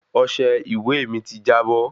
Ọsẹ ìwé mí tí jábọ́